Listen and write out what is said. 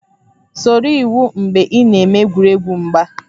Soro iwu mgbe ị na-eme egwuregwu mgba